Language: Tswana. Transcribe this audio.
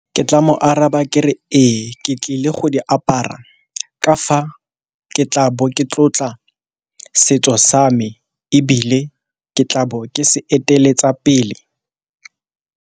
Ke tla mo araba ke re ee, ke tlile go di apara ka fa ke tla bo ke tlotla setso sa me ebile ke tla bo ke se eteletsa pele.